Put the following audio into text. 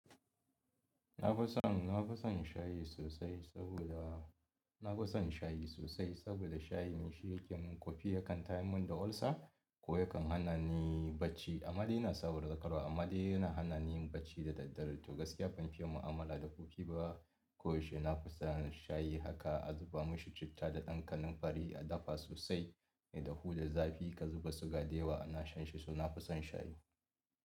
Na fi son, na fi son shayi sosai saboda, na fi son shayi sosai saboda shayi shi yake mun ƙofi yakan tayamin da olsa ko yakan hana ni bacci. Amma ni ina sabar da amma dai yana hana ni bacci dadaddare to gaskiya ban fi yi mu'amala da ƙofi ba ko yaushe. Na fi son shayi haka a zuba mishi citta da ɗan ƙanin fari a dafa sosai mai dahu da zafi ka zuba suga da yawa ina shan shi, so na fi son shayi.